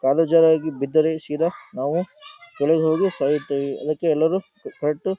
ಕಾಲು ಜಾರಿ ಬಿದ್ದರೆ ಸೀದಾ ನಾವು ಕೆಳಗೆ ಹೋಗಿ ಸಾಯುತ್ತೇವೆ ಅದಕ್ಕೆ ಎಲ್ಲರೂ ಕರೆಕ್ಟು --